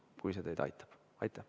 Kui see teid aitab.